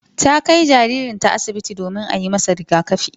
Ta kai jaririnta asibiti domin a yi masa rigakafi.